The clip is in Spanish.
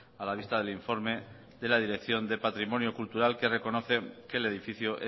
a la vista del informe de la dirección del patrimonio cultural que reconoce que el edificio